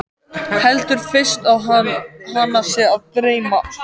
Heldur fyrst að hana sé að dreyma.